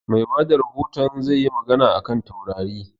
Mai bada rahoton zai yi magana a kan taurari